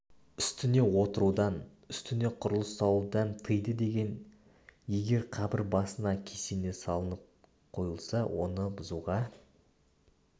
үстіне отырудан үстіне құрылыс салудан тыйды деген егер қабір басына кесене салынып қойылса оны бұзуға